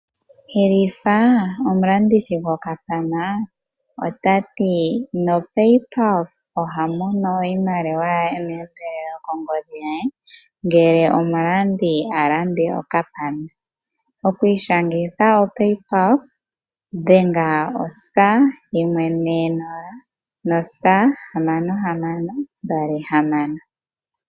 Hilifa okuli omulandithi gwokapana nota tseyithile aalandi ye kutya uuna omuntu iiyadha kena oshimaliwa koomuma nokuli omulongithi goombanga lyoStandard bank ota vulu okulanda nopaypulse. Okwiishangitha dhenga o *140*6626 iimaliwa ye oteyi mono meendelelo.